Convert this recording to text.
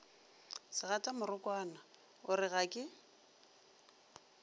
segatamorokwana o re ga ke